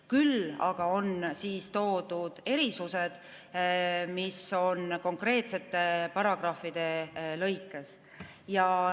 Küll aga on toodud erisused konkreetsete paragrahvide lõikes.